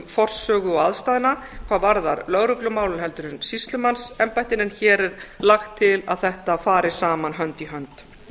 forsögu og aðstæðna hvað varðar lögreglumálin en sýslumannsembættin en hér er lagt til að þetta fari saman hönd í hönd